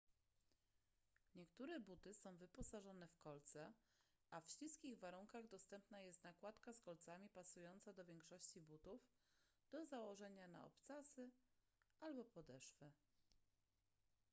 niektóre buty są wyposażone w kolce a w śliskich warunkach dostępna jest nakładka z kolcami pasująca do większości butów do założenia na obcasy albo podeszwy